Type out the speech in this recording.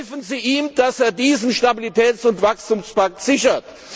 Helfen Sie ihm, dass er diesen Stabilitäts und Wachstumspakt sichert!